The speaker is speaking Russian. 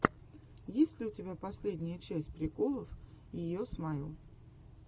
есть ли у тебя последняя часть приколов йо смайл